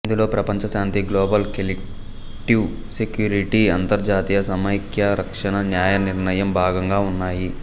ఇందులో ప్రపంచ శాంతి గ్లోబల్ కలెక్టివ్ సెక్యూరిటీ అంతర్జాతీయ సమైక్యరక్షణ న్యాయనిర్ణయం భాగంగా ఉన్నాయి